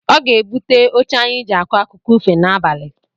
Ọ ga-ebute oche anyị jị akọ akụkọ n’abalị